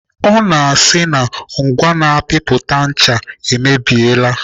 Ọ na-asị na ngwa na-apịpụta ncha e mebiela.